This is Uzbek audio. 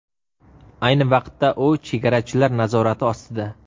Ayni vaqtda u chegarachilar nazorati ostida.